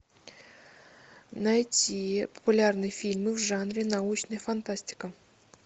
найти популярные фильмы в жанре научная фантастика